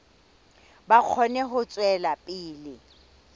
ba kgone ho tswela pele